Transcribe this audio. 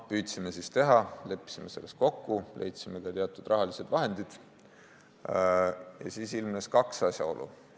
Püüdsime siis teha, leppisime kokku, leidsime ka teatud rahalised vahendid ja siis ilmnes kaks asjaolu.